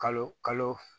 Kalo kalo